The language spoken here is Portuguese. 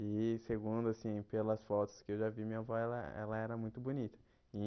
E segundo assim, pelas fotos que eu já vi, minha avó ela ela era muito bonita e.